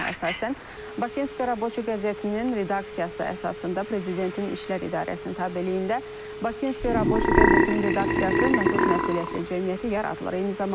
Fərmana əsasən, Bakinski Raboçi qəzetinin redaksiyası əsasında Prezidentin İşlər İdarəsinin tabeliyində Bakinski Raboçi qəzetinin redaksiyası məhdud məsuliyyətli cəmiyyəti yaradılıb.